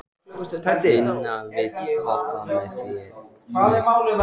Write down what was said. Ina, viltu hoppa með mér?